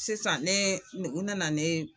Sisan ne u nana ne